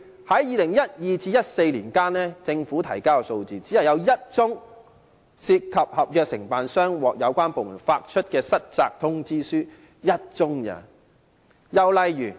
在2012年至2014年期間，據政府提交的數字顯示，只有1宗涉及合約承辦商接獲有關部門發出失責通知書，只有1宗而已。